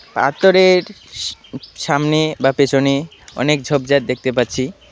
পাথরের সা-সামনে বা পেছনে অনেক ঝোপঝাড় দেখতে পাচ্ছি।